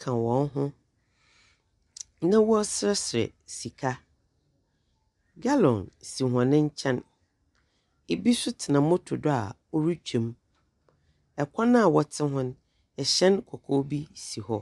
ka hɔn ho, na wɔreserɛserɛ sika. Gallon si hɔn nkyɛn. Bi nso tena motor do a ɔretwam. Kwan a wɔtse hɔ no, hyɛn kɔkɔɔ bi si hɔ.